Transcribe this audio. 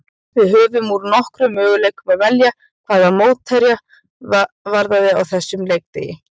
Við höfðum úr nokkrum möguleikum að velja hvað mótherja varðaði á þessum leikdegi.